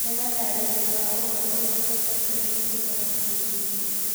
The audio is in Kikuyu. ni matarirĩo ma ũhoro urĩku sesheni ini ya K.B.C